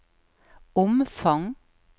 omfang